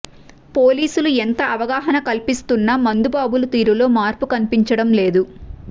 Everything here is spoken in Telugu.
పోలీసులు ఎంత అవగాహనా కల్పిస్తున్నా మందుబాబుల తీరులో మార్పు కనిపించడం లేదు